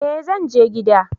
eh zanje gida